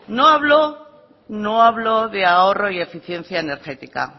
no habló de ahorro y eficiencia energética a